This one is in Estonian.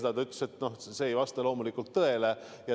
Ta ütles, et see ei vasta loomulikult tõele.